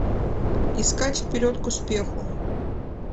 искать вперед к успеху